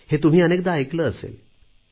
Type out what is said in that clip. हे तुम्ही अनेकदा ऐकले असेल